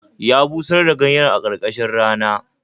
Ya busar da ganyen a karkashin rana